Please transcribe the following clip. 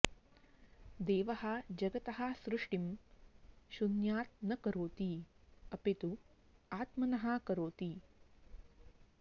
देवः जगतः सृष्टिं शून्यात् न करोति अपि तु आत्मनः करोति